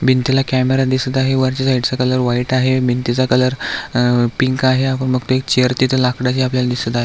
भिंतीला कॅमेरा दिसत आहे वरच्या साइड चा कलर व्हाइट आहे भिंतीचा कलर अ पिंक आहे आपण बघतोय एक चेअर तिथ लाकडची आपल्याला दिसत आहे.